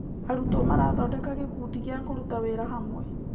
Arutwo marathondeka gĩkundi gĩa kũruta wĩra hamwe.